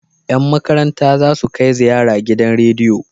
Yan makaranta zasu kai ziyara gidan rediyo